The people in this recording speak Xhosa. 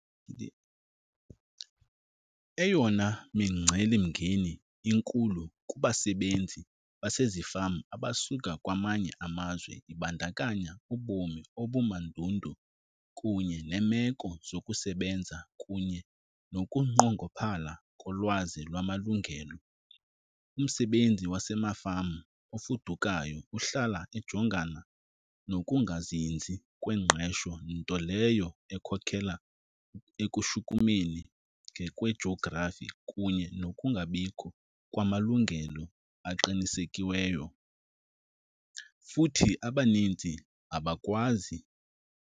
Eyona micelimngeni inkulu kubasebenzi basezifama abasuka kwamanye amazwe ibandakanya ubomi obumandundu kunye neemeko zokusebenza, kunye nokunqongophala kolwazi lwamalungelo. Umsebenzi wasemafama ofudukayo uhlala ejongana kokungazinzi kwengqesho, nto leyo ekhokhela ekushukumeni ngokwe-geography kunye nokungabikho kwamalungelo aqinisekiweyo. Futhi abanintsi abakwazi.